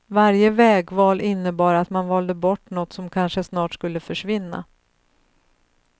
Varje vägval innebar att man valde bort något som kanske snart skulle försvinna.